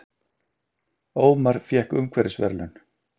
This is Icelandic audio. Ómar fékk umhverfisverðlaun